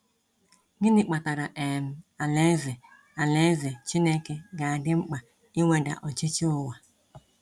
Gịnị kpatara um alaeze alaeze Chineke ga adị mkpa iweda ọchịchị ụwa?